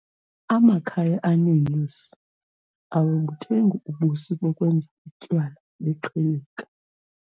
Amakhaya aneenyosi awabuthengi ubusi bokwenza utywala beqhilika.